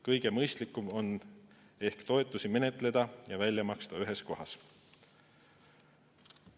Kõige mõistlikum on ehk toetusi menetleda ja välja maksta ühes kohas.